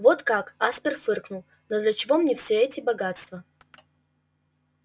вот как аспер фыркнул но для чего мне все эти богатства